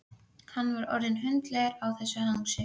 Jón gerði lagfæringar og viðbætur sem hann taldi þurfa.